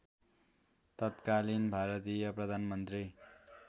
तत्कालीन भारतीय प्रधानमन्त्री